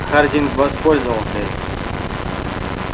хардин воспользовался этим